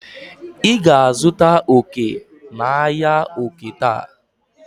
ị ga-azụta oke n'ahịa oke taa?